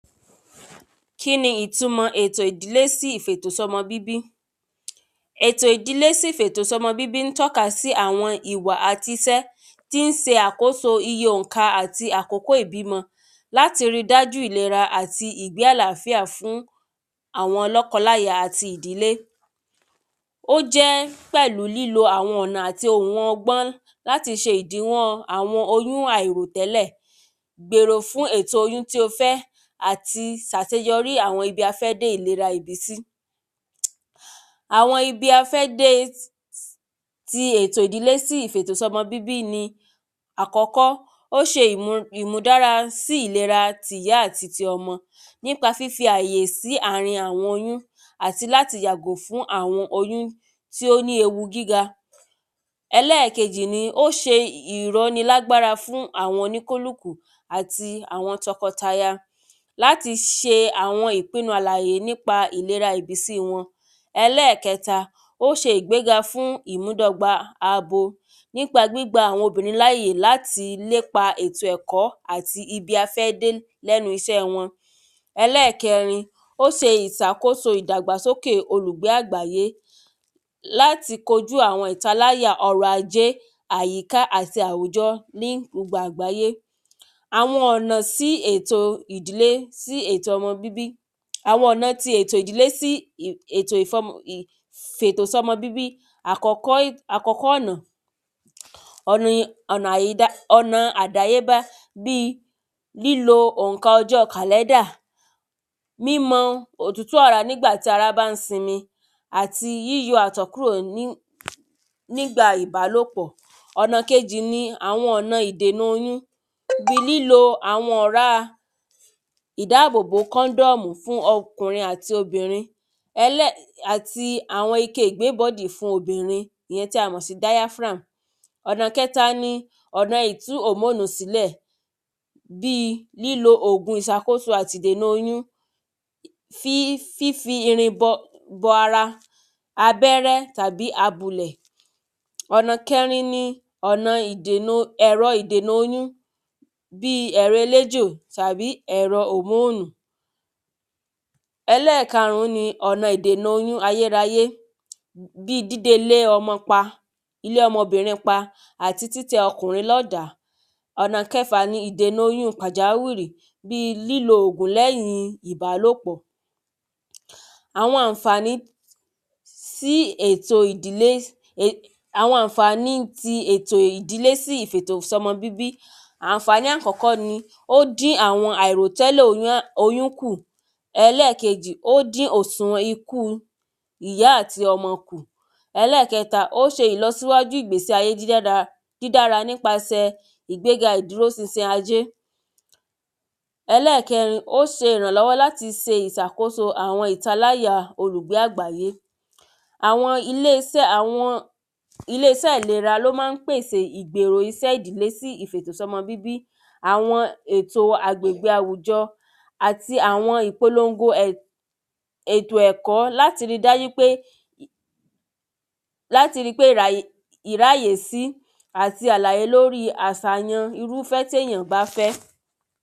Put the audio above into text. Kíni ìtumọ̀ ètò ìdílé sí ìfètò sọ́mọ bíbí? Ètò ìdílé sí ìfètò sọ́mọ bíbí ń tọ́ka sí àwọn ìwà àti isẹ́ tí ń se àkóso iye òǹkà àti àkókò ìbímọ láti rí dájú ìlera àti ìgbé àláfíà fún àwọn lọ́kọláya àti ìdílé. ó jẹ́ pẹ̀lú lílo àwọn ohun ọ̀nà àti ọgbọ́n láti ṣe ìdínwọ́ àwọn oyún àìrò tẹ́lẹ̀ gbèrò fún èrò oyún tí o fẹ́ àti sàseyọrí àwọn ibi a fẹ́ dé ìlera ìbísí. Àwọn ibi a fẹ́ dé ti ètò ìdílé sí ìfètò sọ́mọ bíbí ni ti àkọ́kọ́ ó ṣe ìmúdára sí ìlera ti ìyá àti ọmọ nípa fífi àyè sí àrin àwọn oyún àti láti yàgò fún àwọn oyún tí ó ní ewu gíga. Ẹlẹ́ẹ̀kejì ni ó ṣe ìróni lágbára fún àwọn oníkálùkù àti àwọn tọkọtaya láti ṣe àwọn ìpinu àlàyé nípa ìbísí wọn. Ẹlẹ́ẹ̀kẹta ó ṣe ìgbéga fún ìmúdọ́gba abo nípa gbígba àwọn obìnrin láyè láti lépa ètò ẹ̀kọ́ àti ibi afẹ́dé lẹ́nu iṣẹ́ wọn Ẹlẹ́ẹ̀kẹrin ó se ìsàkóso ìdàgbàsókè olùgbé àgbáyé láti kojú àwọn ìtaláyà ọrọ̀ ajẹ́ àyíká àti àwùjọ ní gbogbo àgbàyé àwọn ọ̀nà sí ètò ìdílé sí ètò ọmọ bíbí àwọn ọ̀nà ti ètò ìdílé sí ètò ìfọ́mọ ìfètòsọ́mọ bíbí àkọ́kọ́ ọ̀nà ọ̀nà ọ̀nà àdáyébá bí lílo òǹkà ọjọ́ kàléndà mímọ òtútù ara nígbà tí ara bá ń sinmi àti yíyọ àtọ̀kúrọ̀ nígbà nígbà ìbálòpọ̀ ọ̀nà kejì ni àwọn ọ̀nà ìdènà oyún ni lílo àwọn ọ̀rá ìdábòbò kóńdọ̀mù fún ọkùnrin àti obìnrin àti àwọn ike ìgbébọ̀dí fún àwọn obìnrin èyí tí a mọ̀ sí diaphram ọ̀nà kẹ́ta ni ọ̀nà ìtú hòmóònù sílẹ̀ bí lílo òògùn ìṣàkóso àti ìdènà oyún ti fínfin irin bọ ara abẹ́rẹ́ tàbí abulẹ̀ Ọ̀nà kẹrin ni ẹ̀rọ ọ̀nà ẹ̀rọ ìdènà oyún bí ẹ̀rọ eléjò tàbí ẹ̀rọ hòmóònù Ẹlẹ́ẹ̀karùn ni ọ̀nà ìdènà oyún ayéráyé bí díde ilé ọmọ pa ilé ọmọ bìnrin pa tàbí títẹ ọmọ kùnrin ládàá ọ̀nà kẹfà ni ìdènà oyún pàjáwìrí bí lílo òògùn lẹ́yìn ìbálòpọ̀ Àwọn ànfàní sí ètò ìdílé àwọn ànfàní ti ètò ìdílé sí ìfètòsọ́mọ bíbí ànfàní àkọ́kọ́ ni ó ń dín àwọn àìròtẹ́lẹ̀ oyún kù ẹlẹ́ẹ̀kejì ó dín òsùnwọ̀n ikú ìyá àti ọmọ kù ẹlẹ́ẹ̀kẹta ó ṣe ìlọsíwájú ìgbésí ayé tó dára dídara nípasẹ̀ ìdúró sinsin ayé ẹlẹ́ẹ̀kẹrin ó ṣe ìrànlọ́wọ́ láti ṣe àkóso ìtaláyà olùgbé àgbáyé àwọn ilé isẹ́ àwọn ilé isẹ́ ìlera ló má ń pèsè ìgbèrò isẹ́ ìdílé sí ìfètò sọ́mọ bíbí àwọn ètò agbègbè àwùjọ àti àwọn ìpolongo ètò ẹ̀kọ́ láti rí dájú pé láti rí pé ìráyè sí àti àlàyé lórí àsàyàn irúfẹ́ tí èyàn bá fẹ́.